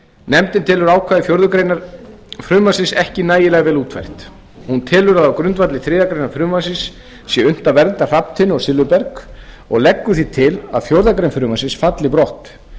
nefndin telur ákvæði fjórðu grein frumvarpsins ekki nægilega vel útfært hún telur að á grundvelli þriðju greinar frumvarpsins sé unnt að vernda hrafntinnu og silfurberg og leggur því til að fjórðu grein frumvarpsins falli brott